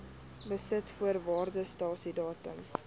besit voor waardasiedatum